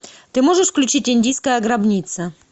ты можешь включить индийская гробница